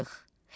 Tapşırıq.